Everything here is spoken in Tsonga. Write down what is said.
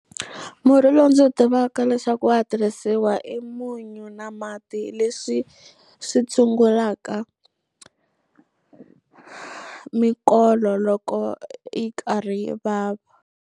Murhi lowu ndzi wu tivaka leswaku wa ha tirhisiwa i munyu na mati leswi swi tshungulaka mikolo loko yi karhi vava.